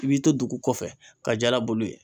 I b'i to dugu kɔfɛ ka jala bolo ye.